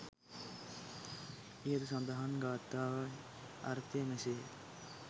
ඉහත සඳහන් ගාථාවන්හි අර්ථය මෙසේ ය.